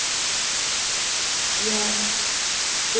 यह एक से दूसरे system पर थोड़ा भिन्न हो सकता है